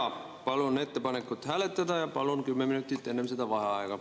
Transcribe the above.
Jaa, palun ettepanekut hääletada ja palun enne seda 10 minutit vaheaega.